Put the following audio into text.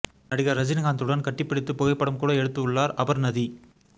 நடிகர் ரஜினிகாந்த் உடன் கட்டிபிடித்து புகைப்படம் கூட எடுத்து உள்ளார் அபர்ணதி